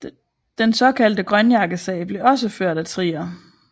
Den såkaldte grønjakkesag blev også ført af Trier